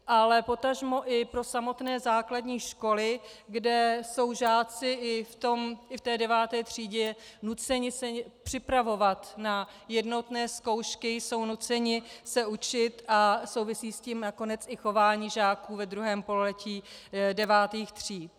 Ale potažmo i pro samotné základní školy, kde jsou žáci i v té deváté třídě nuceni se připravovat na jednotné zkoušky, jsou nuceni se učit, a souvisí s tím nakonec i chování žáků ve druhém pololetí devátých tříd.